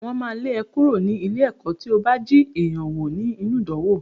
Wọ́n máa lé ẹ kúrò ní ilé-ẹ̀kọ́ tí ó bá jí èèyàn wò nínú ìdánwò.